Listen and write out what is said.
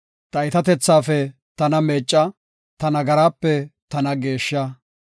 Ta iitatethaafe tana meecca; ta nagaraape tana geeshsha.